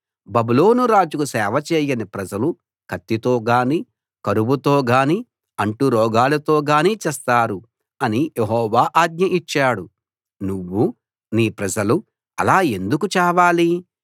బబులోను రాజుకు సేవ చేయని ప్రజలు కత్తితో గానీ కరువుతో గానీ అంటురోగాలతోగానీ చస్తారు అని యెహోవా ఆజ్ఞ ఇచ్చాడు నువ్వు నీ ప్రజలు అలా ఎందుకు చావాలి